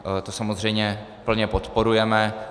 To samozřejmě plně podporujeme.